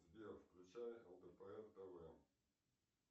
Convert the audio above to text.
сбер включай лдпр тв